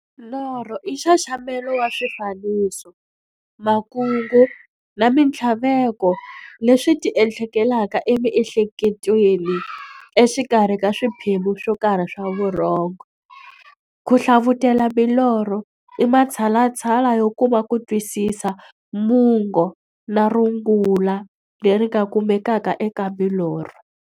Norho i nxaxamelo wa swifaniso, makungu na minthlaveko leswi ti endlekelaka emiehleketweni exikarhi ka swiphemu swokarhi swa vurhongo. Ku hlavutela milorho i matshalatshala yo kuma kutwisisa mungo na rungula leri nga kumekaka eka milorho.